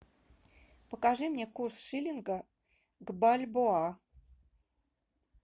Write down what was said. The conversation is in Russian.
покажи мне курс шиллинга к бальбоа